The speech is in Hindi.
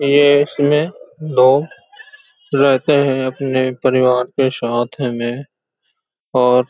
ये इसमे लोग रहते हैं अपने परिवार के साथ में और --